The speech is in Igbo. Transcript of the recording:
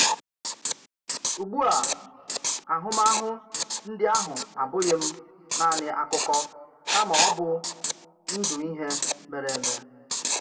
Ùgbù à, àhùmahụ̀ ndí àhụ abùghị̀ m nanị akụkọ kàma ọ̀ bụ̀ ndụ̀ ihé méré eme.